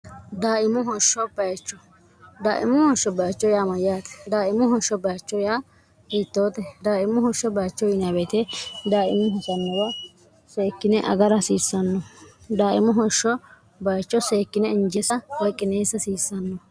daaimo hoshsho bcho daimmo hoshsho bacho yaamayyaati daaimo hoshsho bacho yaa wiittoote daaimmo hoshsho bacho wibeete daaimo hosannowa seekkine agara hasiissanno daaimo hoshsho bayicho seekkine injesa weqineessa hasiissanno